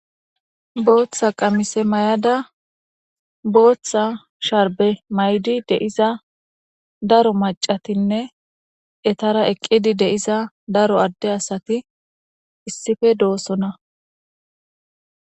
Botha qamisse mayadda botha sharbbe qacheda darro assatinne ettara eqidi darro ade asssati deyossona